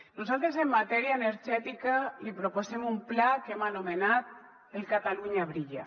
nosaltres en matèria energètica li proposem un pla que hem anomenat el catalunya brilla